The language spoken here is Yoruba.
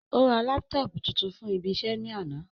Ó ra laptop tuntun ní ibi iṣẹ́ ní àná